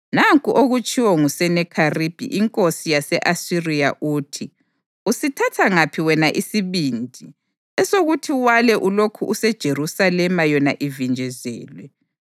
“Nanku okutshiwo nguSenakheribhi inkosi yase-Asiriya uthi: Usithatha ngaphi wena isibindi, esokuthi wale ulokhu useJerusalema yona ivinjezelwe?